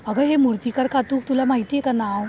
अगं हे मूर्तीकार खातू, तुला माहितीये का नाव?